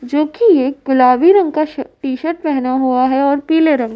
जोकि एक गुलाबी रंग का श टीशर्ट पहना हुआ है और पीले रंग --